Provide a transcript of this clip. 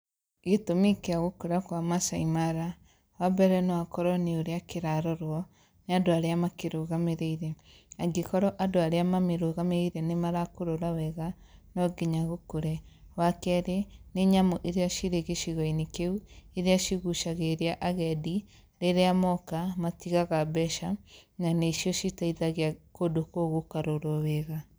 Gĩtũmi kĩa gũkũra kwa Maasai Mara. Wa mbere no korwa nĩ ũrĩa kĩrarorwo nĩ andũ arĩa makĩrũgamĩrĩire. Angĩ korwo andũ arĩa mamĩrũgamĩrĩire nĩ marakũrora wega, no nginya gũkũre. Wa kerĩ, nĩ nyamũ iria cirĩ gĩcigo-inĩ kĩu, iria cigucagĩrĩria agendi, rĩrĩa moka, matigaga mbeca, na nĩcio citeithagia kũndũ kũu gũkarorwo wega.